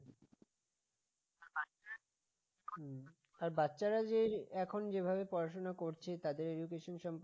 বাচ্চারা যে এখন যেভাবে পড়াশোনা করছে তাদের education সম্পর্কে